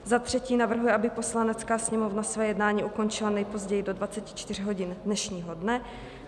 Za třetí navrhuje, aby Poslanecká sněmovna své jednání ukončila nejpozději do 24 hodin dnešního dne.